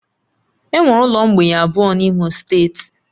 Enwere ụlọ mgbei abụọ n'Imo steeti